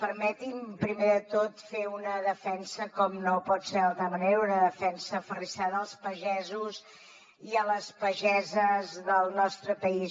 permeti’m primer de tot fer una defensa com no pot ser d’altra manera aferrissada dels pagesos i les pageses del nostre país